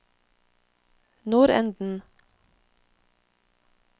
nordenden